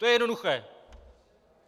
To je jednoduché.